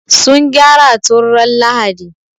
Sun gyara tun ran Lahadi.